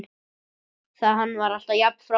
Hann var alltaf jafn frábær.